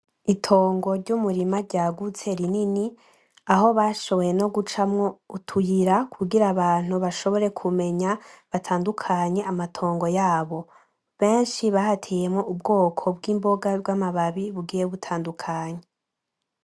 Itongo ryumurima ryagutse rinini, aho bashoboye nogucamwo utuyira kugira abantu bashobore kumenya batadukanye amatongo yabo. Benshi bahateyemwo ubwoko bwibonga bwamababi bugiye butadukanye.